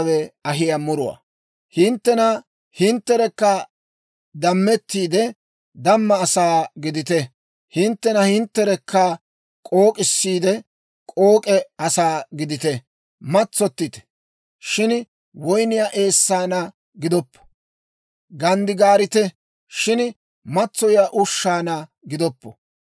Hintte hintterekka dammettiide, damma asaa gidite; hinttena hintterekka k'ook'issiide, k'ook'e asaa gidite. Matsottite; shin woyniyaa eessaanna gidoppo. Ganddigaarite; shin matsoyiyaa ushshaanna gidoppo.